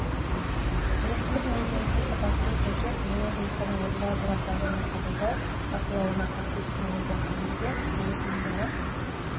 біліктілік мінездемесіне сапасына сәйкес бояу жұмыстарын орындау операциялық және қабылдау бақылауына қатысу технологиялық тәжірибе құрылыс ұйымдары